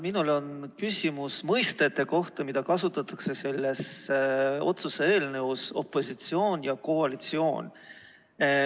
Minul on küsimus mõistete kohta, mida kasutatakse selles otsuse eelnõus: opositsioon ja koalitsioon.